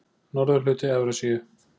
Norðurhluti Evrasíu